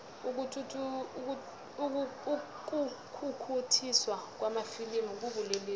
ukukhukhuthiswa kwamafilimu kubulelesi